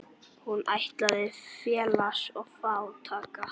Hún ættlaus, félaus og fátæk.